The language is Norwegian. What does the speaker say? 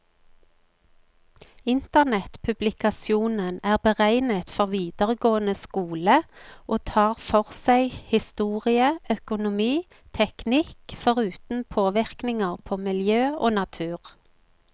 Internettpublikasjonen er beregnet for videregående skole, og tar for seg historie, økonomi, teknikk, foruten påvirkninger på miljø og natur.